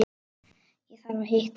Ég þarf að hitta mann.